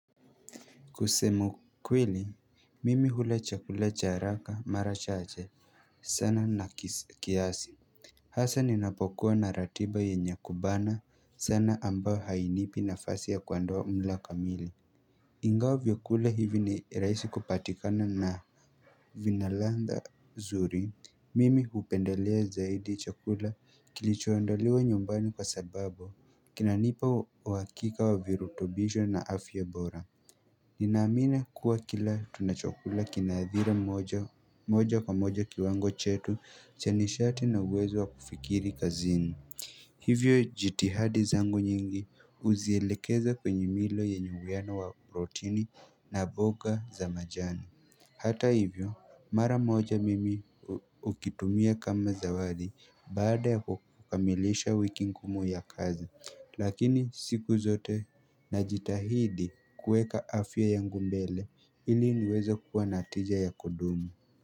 Kusema ukweli, mimi hula chakula cha haraka mara chache sana na kiasi Hasa ninapokuwa na ratiba yenye kubana sana ambayo hainipi nafasi ya kuandaa mlo kamili. Ingawa vyakula hivi ni rahisi kupatikana na vina ladha zuri, mimi hupendelea zaidi chakula kilichoandaliwa nyumbani kwa sababu, kinanipa uhakika wa virutubisho na afya bora Ninaamini kuwa kila tunachokula kina athiri moja kwa moja kiwango chetu cha nishati na uwezo wa kufikiri kazini. Hivyo jitihadi zangu nyingi huzielekeza kwenye milo yanye uwiano wa protini na boga za majani Hata hivyo mara moja mimi hukitumia kama zawadi baada ya kukamilisha wiki ngumu ya kazi. Lakini siku zote najitahidi kuweka afya yangu mbele ili niweze kuwa na tija ya kudumu.